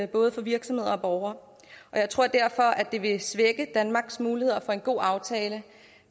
både virksomheder og borgere og jeg tror derfor at det vil svække danmarks muligheder for en god aftale